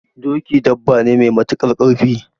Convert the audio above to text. Doki dabba ne me matuƙar ƙarfi